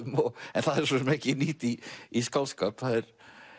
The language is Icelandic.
en það er svo sem ekki nýtt í í skáldskap það er